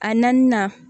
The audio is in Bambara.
A naaninan